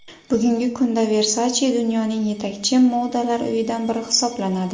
Bugungi kunda Versace dunyoning yetakchi modalar uyidan biri hisoblanadi.